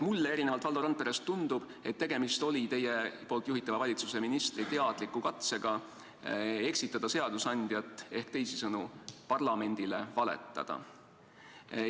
Mulle erinevalt Valdo Randperest tundub, et tegemist oli teie juhitava valitsuse ministri teadliku katsega eksitada seadusandjat ehk teisisõnu parlamendile valetada.